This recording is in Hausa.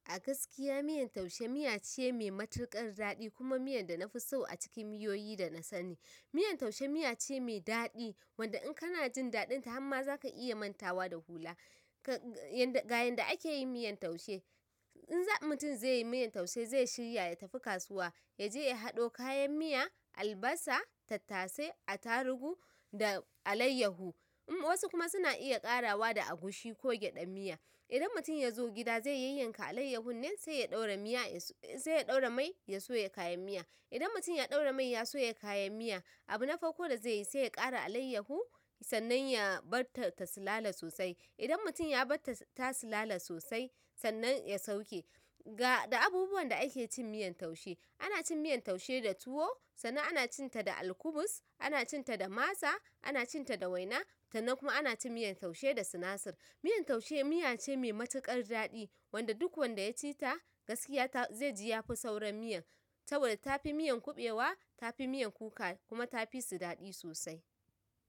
A gaskiya miyan taushe, miya ce mai matuƙar daɗi, kuma miyan da na fi so a cikin miyoyi da na sa ni. Miyan taushe miya ce mai daɗi wanda in kana jin daɗin ta hamma za ka iya mantawa da hula. Ga yanda ake yin miyan taushe, in za mutum zai yi miyan taushe zai shirya ya tafi kasuwa, ya je ya haɗo kayan miya, albasa, tattasai, attarugu da alayyaho. Wasu kuma suna iya ƙarawa da agushi ko gyaɗa miya. Idan mutum ya zo gida zai yayyanka alayyahon nan sai ya ɗaura miya yaso. Sai ɗaura mai ya soya kayan miya. Idan mutum ya ɗaura mai ya soya kayan miya, abu na farko da zai yi sai ya ƙara alayyaho sannan ya bar ta tasulala sosai. Idan mutum ya bar ta tasu lale sosai sannan ya sauke. Ga abubuwan da ake cin miyan taushe, ana cin miyan taushe da tuwo, sannan ana cin ta da alkubus, ana cin ta da masa, ana cin ta da waina sannan kuma ana cin miyan taushe da sinasir. Miyan taushe miya ce mai matuƙar daɗi wanda duk wanda ya ci ta, gaskiya ta. Zai ji ya fi sauran miya. Saboda tafi miyan kuɓewa, tafi miyan kuka kuma tafi su daɗi sosai.